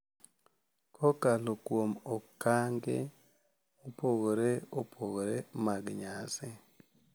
Kokalo kuom okange mopogore opogore mag nyasi.